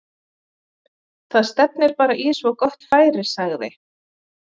Það stefnir bara í svo gott færi sagði